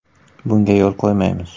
Bunga yo‘l qo‘ymaymiz.